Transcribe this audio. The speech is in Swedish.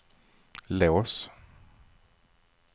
lås